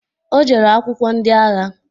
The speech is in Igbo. Ọ jere akwụkwọ ndị agha